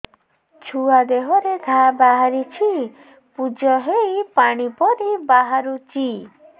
ଛୁଆ ଦେହରେ ଘା ବାହାରିଛି ପୁଜ ହେଇ ପାଣି ପରି ବାହାରୁଚି